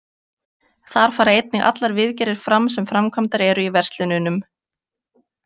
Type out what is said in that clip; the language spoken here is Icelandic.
Þar fara einnig allar viðgerðir fram sem framkvæmdar eru í verslununum.